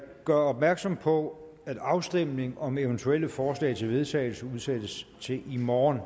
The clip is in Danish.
gør opmærksom på at afstemning om eventuelle forslag til vedtagelse udsættes til i morgen